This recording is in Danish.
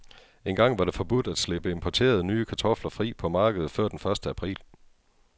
Engang var det forbudt at slippe importerede, nye kartofler fri på markedet før den første april.